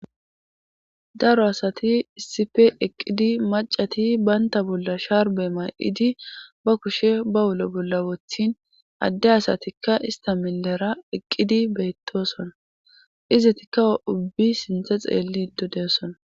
daro asati issipe eqqidi macati banta bolla shaarbe may7idi ba kushe ba wulo bolla wothin adde asatikka ista milera eqqidi beytosona izitikka ubbi sinthe xeellido de'osona